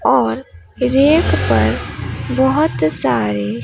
और रैक पर बहोत सारे--